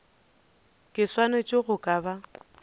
ke swanetše go ka ba